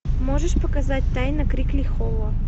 можешь показать тайна крикли холла